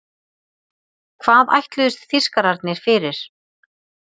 Hvað ætluðust Þýskararnir fyrir?